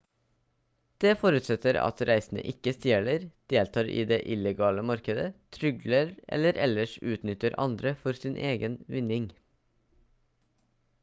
det forutsetter at reisende ikke stjeler deltar i det illegale markedet trygler eller ellers utnytter andre for egen vinning